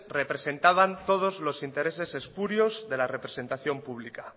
representaban todos los intereses espurios de la representación pública